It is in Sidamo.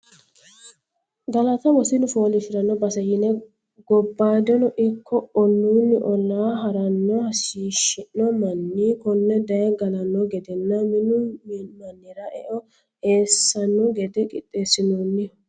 Galatta wosinu foolishshiranno base yine gobbadinni ikko olluni olla haranni hashishi'no manni kone daye gallano gedenna minu mannira eo eessano gede qixxeesinoniho.